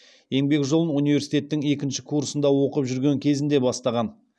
еңбек жолын университеттің екінші курсында оқып жүрген кезінде бастаған